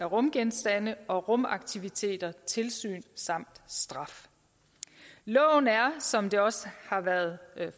rumgenstande og rumaktiviteter tilsyn samt straf loven er som det også har været